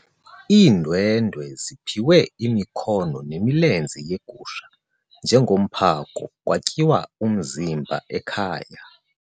Iindwendwe ziphiwe imikhono nemilenze yegusha njengomphako kwatyiwa umzimba ekhaya.